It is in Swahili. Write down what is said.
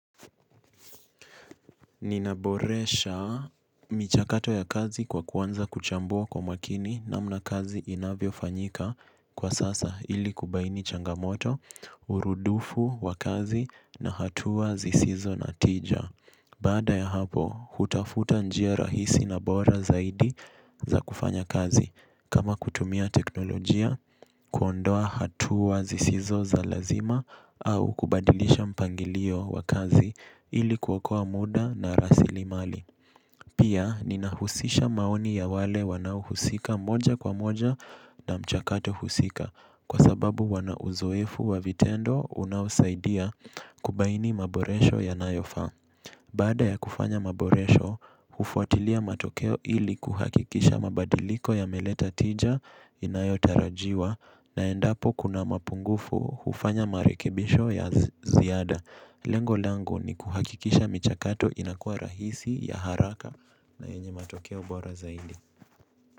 Ninaboresha michakato ya kazi kwa kuanza kuchambua kwa makini namna kazi inavyofanyika kwa sasa ili kubaini changamoto, urudufu wa kazi na hatua zisizo na tija. Baada ya hapo, hutafuta njia rahisi na bora zaidi za kufanya kazi. Kama kutumia teknolojia, kuondoa hatua zisizo za lazima au kubadilisha mpangilio wa kazi ili kuokoa muda na rasilimali. Pia, ninahusisha maoni ya wale wanaohusika moja kwa moja na mchakato husika kwa sababu wana uzoefu wa vitendo unaosaidia kubaini maboresho yanayofaa. Baada ya kufanya maboresho, hufuatilia matokeo ili kuhakikisha mabadiliko yameleta tija inayotarajiwa na endapo kuna mapungufu hufanya marekebisho ya ziada. Lengo langu ni kuhakikisha michakato inakuwa rahisi ya haraka na yenye matokeo bora zaidi.